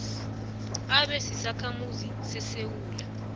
abe sisakhamuzi sesewula